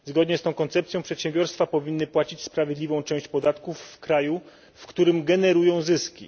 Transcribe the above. Zgodnie z tą koncepcją przedsiębiorstwa powinny płacić sprawiedliwą część podatków w kraju, w którym generują zyski.